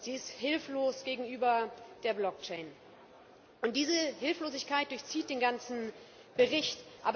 Sie ist hilflos gegenüber der blockchain Diese Hilflosigkeit durchzieht den ganzen Bericht.